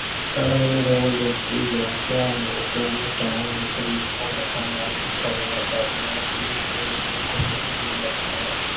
ਧਰਮ ਨਿਰੋਲ ਵਿਅਕਤੀਗਤ ਧਰਮ ਤਾਂ ਮਨੁੱਖ ਦੇ ਦੁੱਖਾਂ ਪਾਪਾਂ ਨਾਲ ਕਰਨ ਦਾ ਸਾਧਨ ਹੈ। ਜੇ ਇਹ ਦੁੱਖ ਦੁ ਅਹ ਲੱਖਾਂ